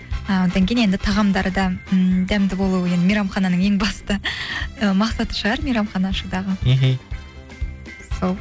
ааа одан кейін енді тағамдары да ы дәмді болуы енді мейрамхананың ең басты мақсаты шығар мейрамхана ашудағы мхм сол